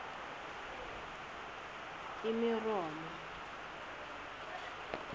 umeromo